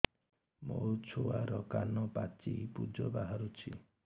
ମୋ ଛୁଆର କାନ ପାଚି ପୁଜ ବାହାରୁଛି